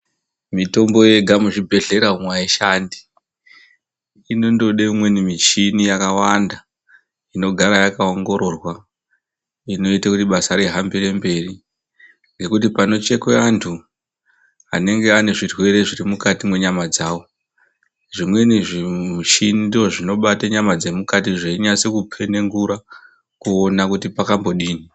Mitombo yega muzvibhehlera umwo aishandi. Inondode umweni michini yakawanda. Inogara yakaongororwa, inoita kuti basa rihambire mberi ngekuti panochekwe antu anenge ane zvirwere zviri mukati mwenyama dzawo, zvimweni zvimuchini ndozvinobate nyama dzemukati zveinyase kukhenengura kuti pakambodini.